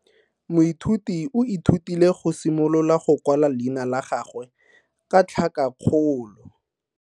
Moithuti o ithutile go simolola go kwala leina la gagwe ka tlhakakgolo.